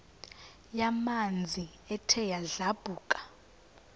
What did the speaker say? yamanzi ethe yadlabhuka